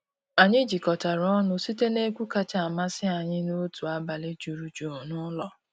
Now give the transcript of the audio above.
Anyị jikọtara ọnụ site n’egwu kacha amasị anyị n’otu abalị juru jụụ n’ụlọ.